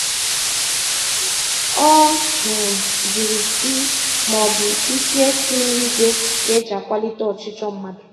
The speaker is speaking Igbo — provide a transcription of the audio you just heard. Ọ um jụrụ sị maọbụ ike si n'igwe ka eji akwalite ọchịchọ mmadụ.